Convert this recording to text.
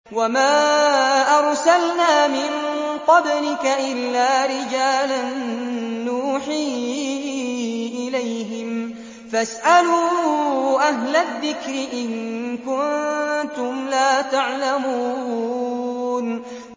وَمَا أَرْسَلْنَا مِن قَبْلِكَ إِلَّا رِجَالًا نُّوحِي إِلَيْهِمْ ۚ فَاسْأَلُوا أَهْلَ الذِّكْرِ إِن كُنتُمْ لَا تَعْلَمُونَ